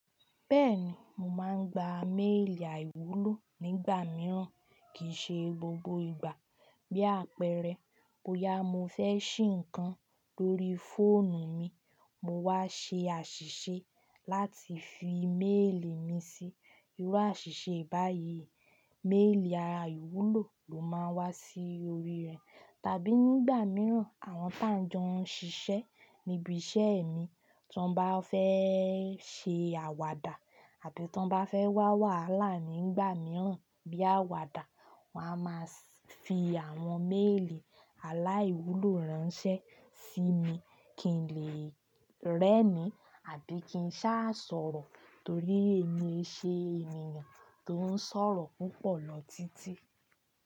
Bẹ́ẹ̀ni, mo máa ń gba méèlì àìwúlò nígbà mìíràn kì í ṣe gbogbo ìgbà. Bí àpẹẹrẹ, bóyá mo fẹ́ ṣí ǹkan lórí fóònù mi, mo wá ṣe àṣìṣe láti fi méèlì mi sí. Irú àṣìṣe báyìí, méèlì ara àwúlò ló máa ń wá sí orí rẹ̀. Tàbí nígbà mìíràn, àwọn tá ń jọ ń ṣiṣẹ́ níbi iṣẹ́ mi, tí wọ́n bá fẹ́ ṣe àwàdà àbi tí wọ́n bá fẹ́ wá wàhálà mi nígbà mìíràn bí àwàdà, wọ́n á máa fi àwọn méèlì aláìwúlò ránṣẹ́ sí mi kí n lè rẹ́ni àbí kí n sá sọ̀rọ̀ torí èmi ṣe èmi ni tó ń sọ̀rọ̀ púpọ̀ lọ títí.